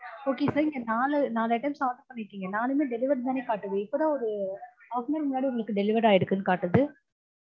okay sir நீங்க நாலு நாலு items order பண்ணிருக்கீங்க நாலுமே delivered னு தானே காட்டுது. இப்பதான் ஒரு half an hour முன்னாடி உங்களுக்கு delivery ஆயிருக்குனு காட்டுது